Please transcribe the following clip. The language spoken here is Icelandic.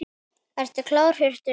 Ertu klár Hjörtur eða?